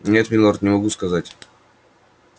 нет милорд не могу сказать